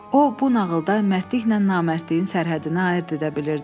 O, bu nağılda mərdliklə namərdliyin sərhəddini ayırd edə bilirdi.